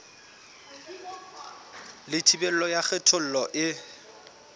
le thibelo ya kgethollo e